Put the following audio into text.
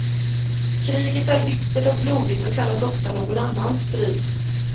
Kriget är bittert och blodigt och kallas ofta någon annans strid.